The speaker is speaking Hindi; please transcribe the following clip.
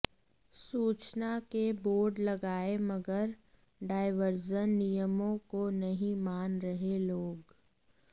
सूचना के बोर्ड लगाए मगर डायवर्जन नियमों को नहीं मान रहे लोग